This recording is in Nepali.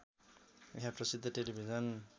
यहाँ प्रसिद्ध टेलिभिजन